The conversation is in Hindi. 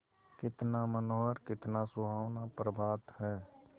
कितना मनोहर कितना सुहावना प्रभात है